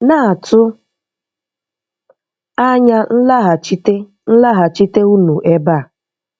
Na-atụ anya nlaghachite nlaghachite unu ebe a.